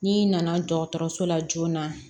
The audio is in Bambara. N'i nana dɔgɔtɔrɔso la joona